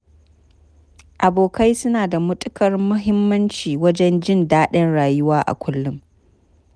Abokai suna da matuƙar muhimmanci wajen jin daɗin rayuwa a kullum.